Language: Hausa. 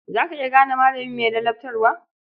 Za ka iya gane malami mai ladabtarwa?